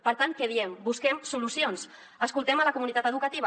per tant què diem busquem solucions escoltem la comunitat educativa